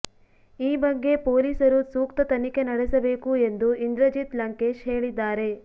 ಈ ಬಗ್ಗೆ ಪೊಲೀಸರು ಸೂಕ್ತ ತನಿಖೆ ನಡೆಸಬೇಕು ಎಂದು ಇಂದ್ರಜಿತ್ ಲಂಕೇಶ್ ಹೇಳಿದ್ದಾರೆ